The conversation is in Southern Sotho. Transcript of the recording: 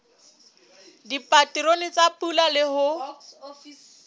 dipaterone tsa pula le ho